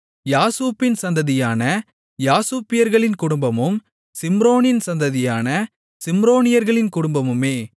யாசூபின் சந்ததியான யாசூபியர்களின் குடும்பமும் சிம்ரோனின் சந்ததியான சிம்ரோனியர்களின் குடும்பமுமே